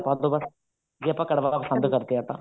ਜਿਆਦਾ ਪਾਦੋ ਬੱਸ ਜੇ ਆਪਾਂ ਕੜਵਾ ਪਸੰਦ ਕਰਦੇ ਹਾਂ ਤਾਂ